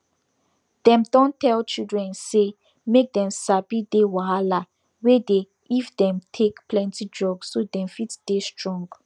dem don tell chilidren say make dem sabi dey wahala wey dey if dem take plenty drugs so dem fit dey strong